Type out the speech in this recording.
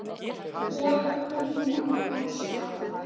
Ég kunni að elska.